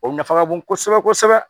O nafa ka bon kosɛbɛ kosɛbɛ